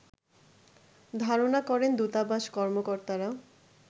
ধারনা করেন দূতাবাস কর্মকর্তারা